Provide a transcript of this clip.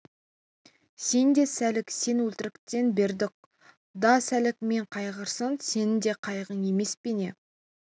сен де сәлік сен өлтірткен бердіқұл да сәлік мен қайғырсам сенін де қайғың емес пе не